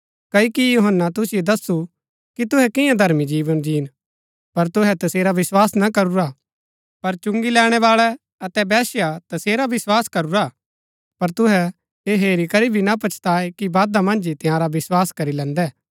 क्ओकि यूहन्‍ना तुसिओ दस्सु कि तुहै कियां धर्मी जीवन जीन पर तुहै तसेरा विस्वास ना करूरा पर चुंगी लैणैवाळै अतै वेश्या तसेरा विस्वास करूरा पर तुहै ऐह हेरी करी भी ना पछताये कि बादा मन्ज ही तंयारा विस्वास करी लैन्दै